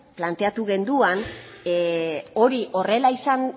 planteatu genuen hori horrela